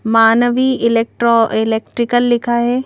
मानवी electro electrical लिखा है।